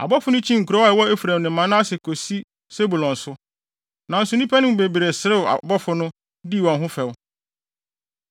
Abɔfo no kyinii nkurow a ɛwɔ Efraim ne Manase kosi Sebulon so. Nanso nnipa no mu bebree serew abɔfo no, dii wɔn ho fɛw.